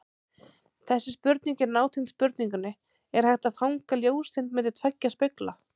Þessi spurning er nátengd spurningunni Er hægt að fanga ljóseind milli tveggja spegla?